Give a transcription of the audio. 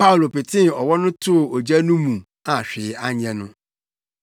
Paulo petee ɔwɔ no too ogya no mu a hwee anyɛ no.